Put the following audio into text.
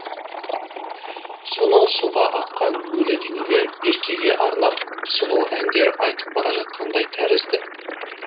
сонау суға аққан өлі денелер беркеге арнап сұлу әндер айтып бара жатқандай тәрізді